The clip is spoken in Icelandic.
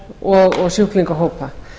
og sjúklingahópa